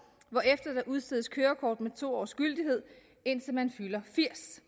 hvorefter der udstedes kørekort med to års gyldighed indtil man fylder firs